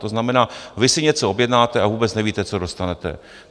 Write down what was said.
To znamená, vy si něco objednáte, a vůbec nevíte, co dostanete.